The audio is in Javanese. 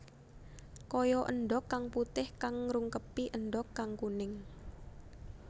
Kaya endhog kang putih kang ngrungkepi endhog kang kuning